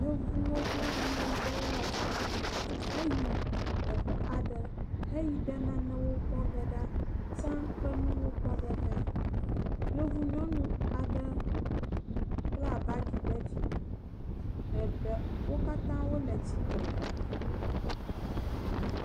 Yevuwo kple ameyibɔwo wɔ tsaɖiɖi heyi teƒe aɖe heyi ɖe nanewo kpɔ ge ɖa, tsã ƒe nuwɔnawo kpɔ ge ɖa. Yevu nyɔnu aɖe kpla bagi ɖe dzime wo katã wole tsitre